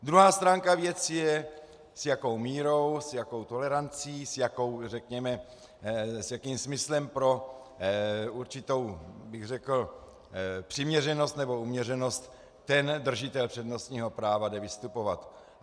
Druhá stránka věci je, s jakou mírou, s jakou tolerancí, s jakým smyslem pro určitou bych řekl přiměřenost nebo uměřenost ten držitel přednostního práva jde vystupovat.